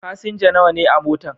Fasinja nawa ne a motan?